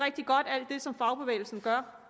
alt det som fagbevægelsen gør